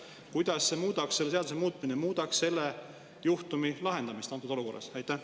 Kuidas selle seaduse muutmine muudaks selle juhtumi lahendamist antud olukorras?